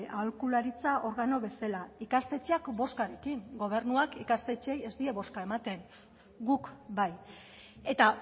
aholkularitza organo bezala ikastetxeak bozkarekin gobernuak ikastetxeei ez die bozka ematen guk bai eta